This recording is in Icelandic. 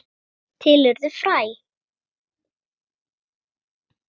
Til urðu fræ.